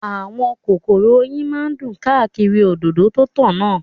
Àwọn kòkòrò oyin náà dún káàkiri òdòdó tó ń tàn náà